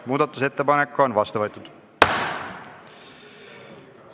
Muudatusettepanek on vastu võetud.